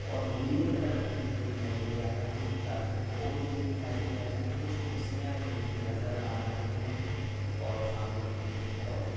और नीले कलर का थीम दिखाई दे रहा है एक चार्जिंग बोर्ड भी दिखाई दे रहा है कुछ कुर्सियाँ भी मुझे नजर आ रही है और सामने एक हेड ओफिस --